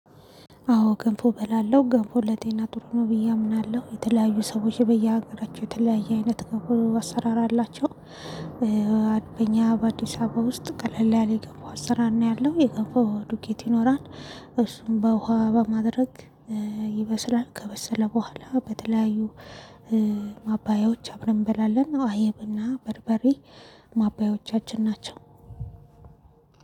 አዎ ገንፎ በላለሁ። ገንፎ ለጤና ጥሩ ነው ብዬ አምናለሁ። የተለያዩ ሰዎች በየሀገራቸው የተለያየ አይነት ገንፎ አሰራር አላቸው። በኛ በአዲስ አበባ ውስጥ ቀለል ያለ የገንፎ አሰራር ነው ያለው። የገንፎ ዱቄት ይኖራል እሱን በውሃ በማድረግ ይበስላል። ከበሰለ በኋላ በተለያዩ ማባያዎች አብረን እንበላለን። አይብና በርበሬ ማባያዎቻችን ናቸው።